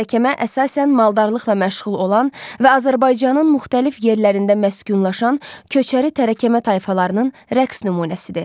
Tərəkəmə əsasən maldarlıqla məşğul olan və Azərbaycanın müxtəlif yerlərində məskunlaşan köçəri tərəkəmə tayfalarının rəqs nümunəsidir.